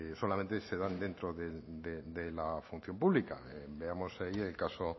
pues solamente se dan dentro de la función pública veamos ahí el caso